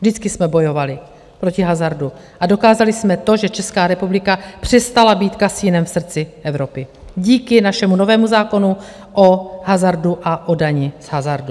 Vždycky jsme bojovali proti hazardu a dokázali jsme to, že Česká republika přestala být kasinem v srdci Evropy díky našemu novému zákonu o hazardu a o dani z hazardu.